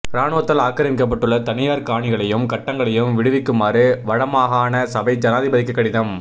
இராணுவத்தால் ஆக்கிரமிக்கப்பட்டுள்ள தனியார் காணிகளையும் கட்டடங்களையும் விடுவிக்குமாறு வடமாகாண சபை ஜனாதிபதிக்கு கடிதம்